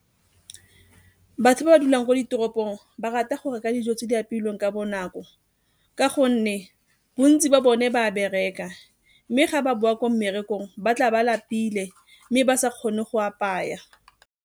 Batho ba ba dulang ko ditoropong ba rata go reka dijo tse di apeilweng ka bonako ka gonne bontsi ba bone ba a bereka, mme ga ba boa ko mmerekong ba tla ba lapile mme ba sa kgone go apaya.